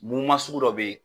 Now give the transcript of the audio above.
Munnu ma sugu dɔw bɛ yen.